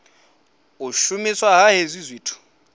u shumiswa ha hezwi zwithu